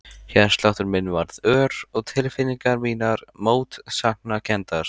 Hjartsláttur minn varð ör og tilfinningar mínar mótsagnakenndar.